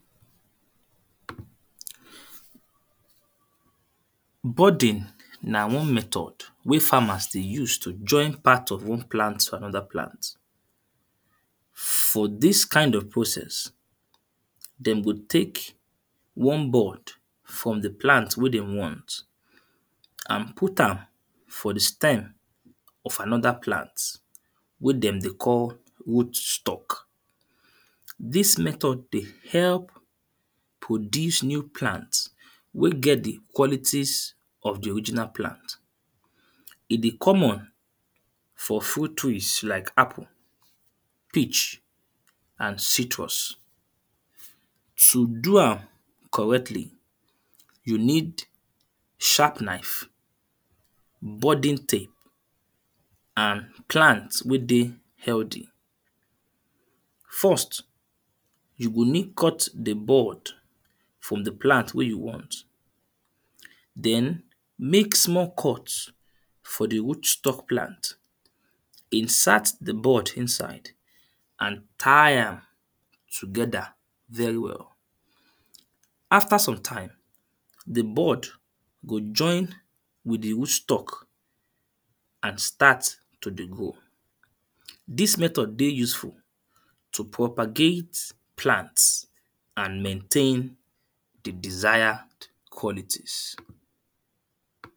Budding na one method wey farmers dey use to join part of one plant to another plant. For this kind of process, them go take one bud from the plant wey then want and put am for the stem of another plant wey them dey call root stalk. This method dey help produce new plant wey get the qualities of the original plant. E dey common for fruit trees, like apple, peach and citrus. To do am correctly, you need sharp knife, budding tape and plant wey dey healthy. First, you go need cut the bud from the plant wey you want, then, make small cut for the root stalk plant, insert the bud inside and tie am together very well. After sometime, the bud go join with the root stalk and start to dey grow. This method dey useful to propagate plants and maintain the desired qualities.